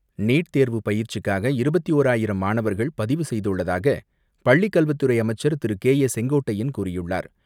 NEET தேர்வு பயிற்சிக்காக இருபத்தி ஓராயிரம் மாணவர்கள் பதிவு செய்துள்ளதாக பள்ளிக்கல்வித்துறை அமைச்சர் திரு கே.ஏ செங்கோட்டையன் கூறியுள்ளார்.